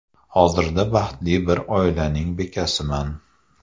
Hozirda baxtli bir oilaning bekasiman.